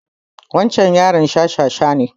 Wancan yaron shashasha ne